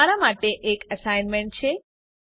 અહીં તમારા માટે એક અસાઇનમેન્ટ છે